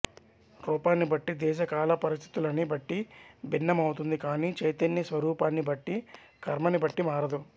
రూపాన్ని బట్టి దేశ కాల పరిస్థితులని బట్టీ భిన్న మౌతుంది కాని చైతన్య స్వరూపాన్ని బట్టీ కర్మని బట్టి మారదు